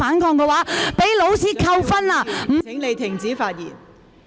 蔣麗芸議員，請你停止發言。